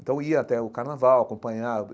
Então ia até o Carnaval acompanhar.